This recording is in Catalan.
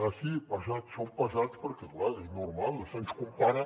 ah sí pesat som pesats perquè clar és normal se’ns compara